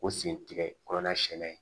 O sen tigɛ kɔlɔn senna yen